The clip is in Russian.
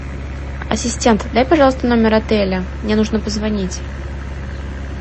ассистент дай пожалуйста номер отеля мне нужно позвонить